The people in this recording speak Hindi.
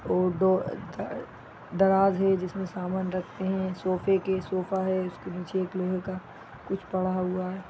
और दो द दराज है इसमें सामान रखते हैं सोफे के सोफा है उसके नीचे एक लोहे का कुछ पड़ा हुआ है।